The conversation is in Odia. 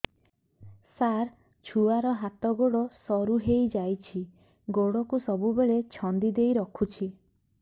ସାର ଛୁଆର ହାତ ଗୋଡ ସରୁ ହେଇ ଯାଉଛି ଗୋଡ କୁ ସବୁବେଳେ ଛନ୍ଦିଦେଇ ରଖୁଛି